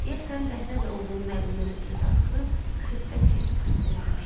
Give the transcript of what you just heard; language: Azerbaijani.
Deyəsən dəhrə də oğlunun əlindən ötrü darıxıb, xiffət çəkib xəstələnmişdi.